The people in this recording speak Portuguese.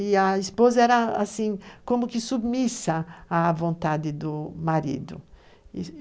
E a esposa era assim, como que submissa à vontade do marido.